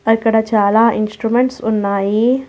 మరిక్కడ చాలా ఇన్స్ట్రుమెంట్స్ ఉన్నాయి.